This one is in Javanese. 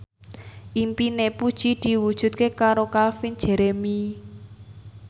impine Puji diwujudke karo Calvin Jeremy